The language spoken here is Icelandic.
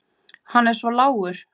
Hann er svo lágur.